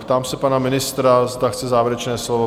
Ptám se pana ministra, zda chce závěrečné slovo?